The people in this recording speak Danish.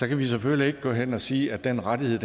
kan vi selvfølgelig ikke gå hen og sige at den rettighed